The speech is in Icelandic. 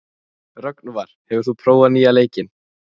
Rögnvar, hefur þú prófað nýja leikinn?